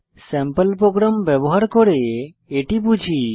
sample program ব্যবহার করে এটি বুঝি